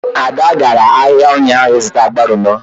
Ada gara ahịa ụnyaahụ ịzụta agbalumo